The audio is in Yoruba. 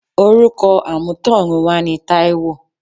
Orúkọ amutorunwa ni Taiwo.